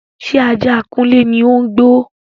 Ṣé ajá kunle ni ó ń gbó?